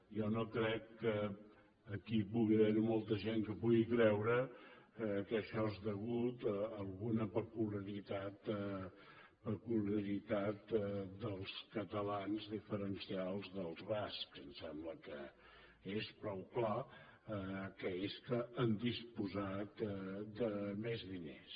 jo no crec que aquí hi pugui haver molta gent que pugui creure que això és degut a alguna peculiaritat dels catalans diferencial dels bascs em sembla que és prou clar que és que han disposat de més diners